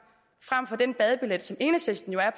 frem for den badebillet som enhedslisten jo er